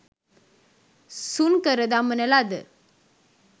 සුන්කර දමන ලද